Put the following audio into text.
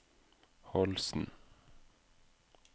Holsen